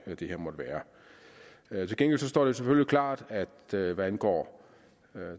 det her måtte være være til gengæld står det selvfølgelig klart at hvad angår